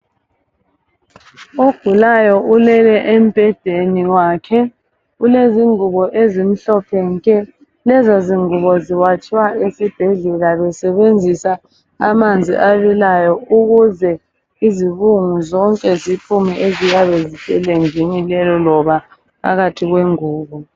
Ogulayo ulele embhedeni wakhe ulezingubo ezimhlophe nke lezozingubo ziwatshwa esibhendlela besebenzisa amanzi abilayo ukuze izibungu zonke ziphume eziyabe ziselejini lelo loba phakathi kwengubo.